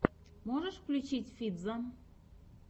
можешь включить фитза